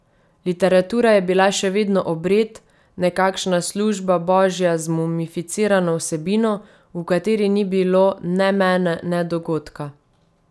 Literatura je bila še vedno obred, nekakšna služba božja z mumificirano vsebino, v kateri ni bilo ne mene ne dogodka.